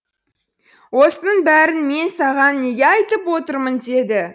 осының бәрін мен саған неге айтып отырмын деді